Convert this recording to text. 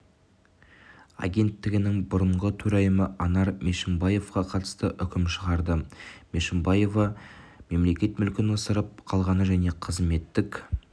агенттігінің бұрынғы төрайымы анар мешімбаеваға қатысты үкім шығарды мешімбаева мемлекет мүлкін ысырап қылғаны және қызметтік